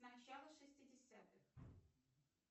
начало шестидесятых